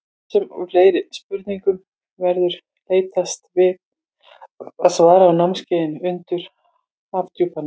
Þessum og fleiri spurningum verður leitast við að svara á námskeiðinu Undur Hafdjúpanna.